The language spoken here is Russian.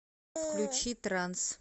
включи транс